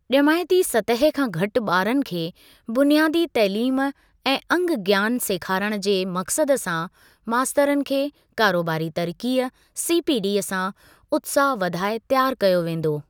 ॼमाइती सतह खां घटि बारनि खे बुनियादी तइलीम ऐं अंग ज्ञानु सेखारण जे मक़सद सां मास्तरनि खे कारोबारी तरक़ीअ (सीपीडी) सां उत्साह वधाए तियारु कयो वेंदो।